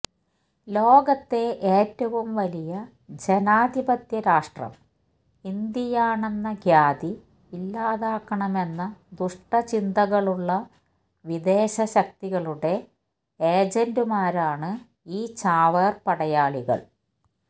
ലോകത്തെ ഏറ്റവും വലിയ ജനാധിപത്യ രാഷ്ട്രം ഇന്ത്യയാണെന്ന ഖ്യാതി ഇല്ലാതാക്കണമെന്ന ദുഷ്ടചിന്തകളുള്ള വിദേശ ശക്തികളുടെ ഏജന്റ്മാരാണ് ഈ ചാവേർ പടയാളികൾ